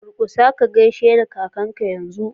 Durƙusa ka gaishe kakanka yanzu!!